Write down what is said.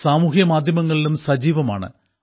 സാമൂഹ്യമാധ്യമങ്ങളിലും സജീവമാണ്